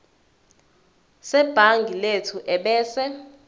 sebhangi lethu ebese